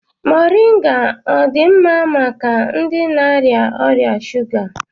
Mọrịnga ọ dị mma maka ndị na-arịa ọrịa shuga?